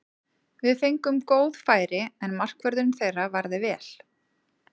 Við fengum góð færi, en markvörðurinn þeirra varði vel.